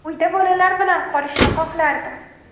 Uyda bolalar bilan qolishni xohlardim”.